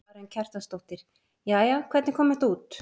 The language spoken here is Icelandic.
Karen Kjartansdóttir: Jæja, hvernig kom þetta út?